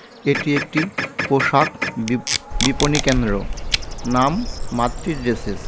এটি একটি পোশাক বিপ-বিপণী কেন্দ্র নাম মাতৃ ড্রেসেস .